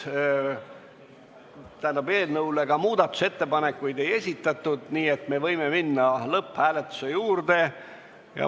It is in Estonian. Eelnõu kohta muudatusettepanekuid ei esitatud, nii et võime minna lõpphääletuse juurde.